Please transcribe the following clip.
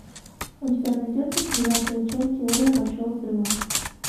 у тебя найдется девятая часть теория большого взрыва